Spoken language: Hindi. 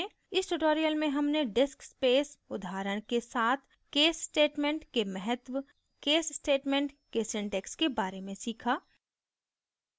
इस tutorial में हमने disc space उदाहरण के साथ case statement के महत्व case statement के syntax के बारे में सीखा